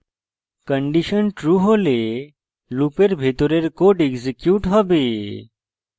condition true হলে লুপের ভিতরের code এক্সিকিউট হবে